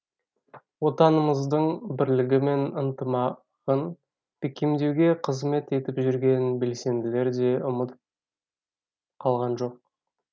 отанымыздың бірлігі мен ынтымағын бекемдеуге қызмет етіп жүрген белсенділер де ұмыт қалған жоқ